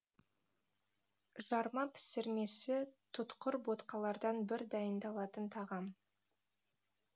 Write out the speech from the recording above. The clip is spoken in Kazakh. жарма пісірмесі тұтқыр ботқалардан бір дайындалатын тағам